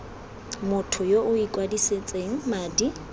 motho yo o ikwadisitseng madi